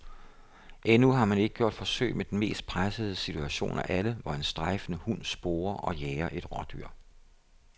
Endnu har man ikke gjort forsøg med den mest pressede situation af alle, hvor en strejfende hund sporer og jager et rådyr.